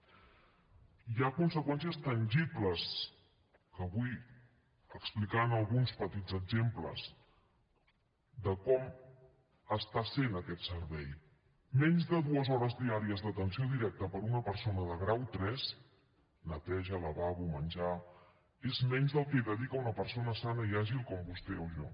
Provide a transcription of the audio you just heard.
i hi ha conseqüències tangibles que vull explicar amb alguns petits exemples de com està sent aquest servei menys de dues hores diàries d’atenció directa per a una persona de grau iii neteja lavabo menjar és menys del que hi dedica una persona sana i àgil com vostè o jo